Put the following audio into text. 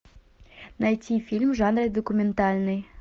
найти фильм в жанре документальный